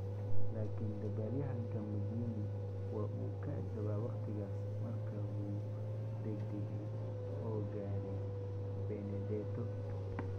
Laakiin dabaalyaxanka Magnini waa uu ka agdhawaa wakhtigaas markaa wuu degdegay oo gaadhay Benedetto.